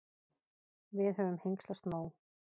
Við höfum hengslast nóg.